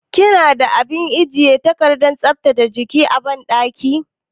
Kina da abin ajiye takardar tsaftace jiki a banɗaki?